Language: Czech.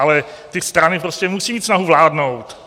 Ale ty strany prostě musí mít snahu vládnout.